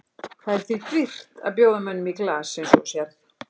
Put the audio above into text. Það er því dýrt að bjóða mönnum í glas eins og þú sérð.